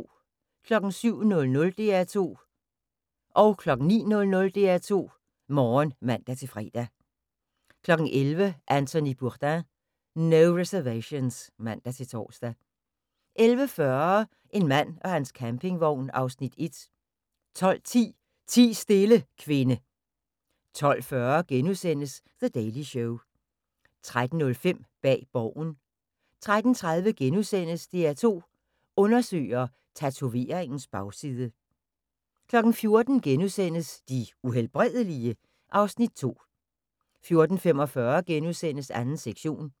07:00: DR2 Morgen (man-fre) 09:00: DR2 Morgen (man-fre) 11:00: Anthony Bourdain: No Reservations (man-tor) 11:40: En mand og hans campingvogn (Afs. 1) 12:10: Ti stille, kvinde 12:40: The Daily Show * 13:05: Bag Borgen 13:30: DR2 Undersøger: Tatoveringens bagside * 14:00: De Uhelbredelige? (Afs. 2)* 14:45: 2. sektion *